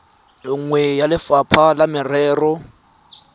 nngwe ya lefapha la merero